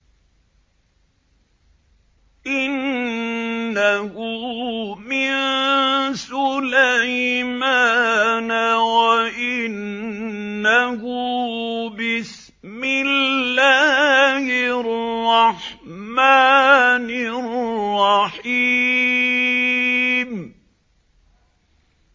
إِنَّهُ مِن سُلَيْمَانَ وَإِنَّهُ بِسْمِ اللَّهِ الرَّحْمَٰنِ الرَّحِيمِ